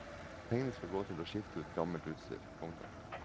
Pengene skal gå til å skifte ut gammelt utstyr. punktum